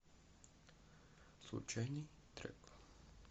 случайный трек